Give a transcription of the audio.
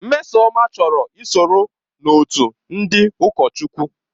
Mmesoma chọrọ ị sonye n'otu ndị ụkọchukwu.